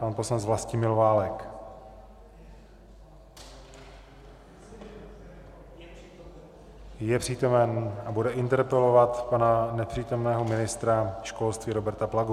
Pan poslanec Vlastimil Válek je přítomen a bude interpelovat pana nepřítomného ministra školství Roberta Plagu.